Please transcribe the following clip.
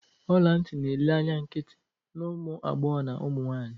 Ọla ntị na-ele anya nkịtị na ụmụ agbọghọ na ụmụ nwanyị